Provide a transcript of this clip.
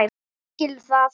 Hann skilur það.